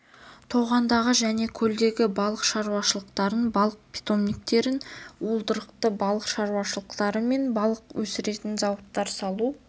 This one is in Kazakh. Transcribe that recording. тоғандағы және көлдегі балық шаруашылықтарын балық питомниктерін уылдырықты балық шаруашылықтары мен балық өсіретін зауыттар салу